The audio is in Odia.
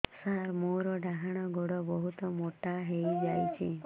ସାର ମୋର ଡାହାଣ ଗୋଡୋ ବହୁତ ମୋଟା ହେଇଯାଇଛି